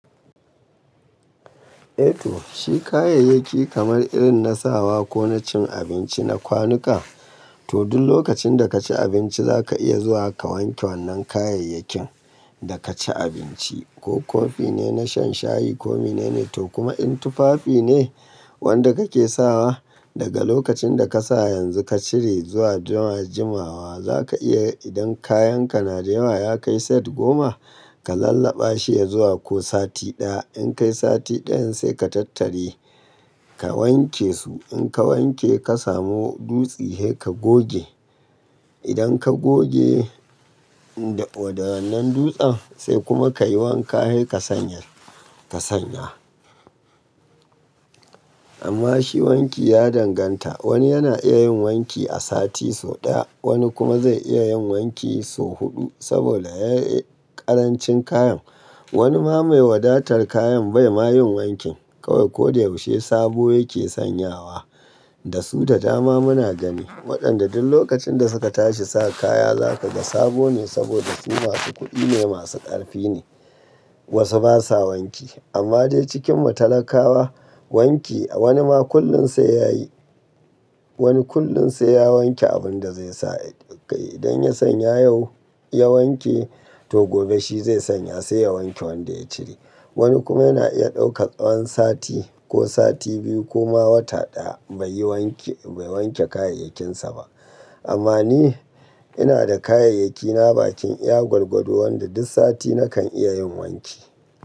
Eto, shi kayayyaki kamar irin nasawa ko na cin abinci na kwanuka, to duk lokacin da ka ci abinci za ka iya zuwa ka wanke wannan kayayakin da ka ci abinci. Ko kofi ne na shan shayi ko mene ne. To kuma in tufafi ne wanda kake sawa, daga lokacin da ka sa yanzu ka cire zuwa juma-juma wa za ka iya idan kayan ka na da yawa ya kai set goma, ka lallaba shi ya zuwa ko sati ɗaya. In kai sati ɗayan sai ka tattari ka wanke su. In ka wanke ka samu dutsi, hei ka goge. Idan ka goge da-waɗannan dutsen sai kuma ka yi wanka hei ka sanya-ka sanya. Amma shi wanki ya danganta. Wani yana iya yin wanki a sati sau ɗaya, wani kuma zai iya yin wanki sau huɗu saboda ya yi ƙarancin kayan. Wani ma mai wadatar kayan bai ma yin wanki kawai. Ko da yaushe sabo yake sanyawa. Da su ta dama muna gani. Waɗanda duk lokacin da suka tashi sa kaya za ka ga sabo ne saboda su masu kuɗi ne, masu ƙarfi ne. Wasu basa wanki. Amma dai cikin matalakawa wanki wani ma kullum sai ya yi. Wani kullum sai ya wanke abin da zai sa. Idan ya sanya yau, ya wanke to gobe shi zai sanya sai ya wanke wanda ya cire. Wani kuma yana iya ɗauka tsawan sati ko sati biyu ko ma wata ɗaya bai yi wanke-bai wanke kayayyakinsa ba. Amma ni ina da kayayyakina bakin iya gwargwado wanda duk sati nakan iya yin wanki.